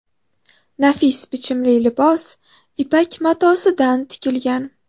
Nafis bichimli libos ipak matosidan tikilgan.